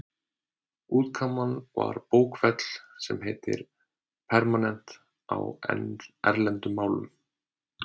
Útkoman var bókfell, sem heitir pergament á erlendum málum.